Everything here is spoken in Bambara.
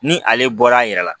Ni ale bɔra a yɛrɛ la